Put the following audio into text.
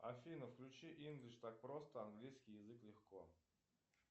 афина включи инглиш так просто английский язык легко